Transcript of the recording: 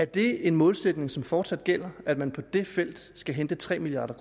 det en målsætning som fortsat gælder at man på det felt skal hente tre milliard